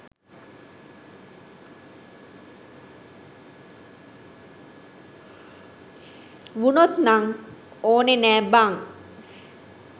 වුනොත් නං ඕනෙ නෑ බං.